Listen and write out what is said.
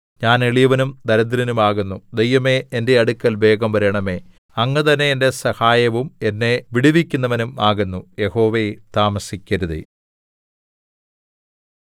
ഞാൻ എളിയവനും ദരിദ്രനും ആകുന്നു ദൈവമേ എന്റെ അടുക്കൽ വേഗം വരണമേ അങ്ങ് തന്നെ എന്റെ സഹായവും എന്നെ വിടുവിക്കുന്നവനും ആകുന്നു യഹോവേ താമസിക്കരുതേ